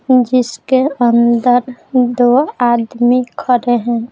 जिसके अंदर दो आदमी खड़े हैं।